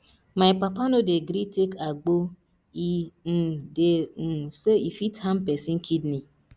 my papa no dey gree take agbo e um dey um sey e fit harm pesin kidney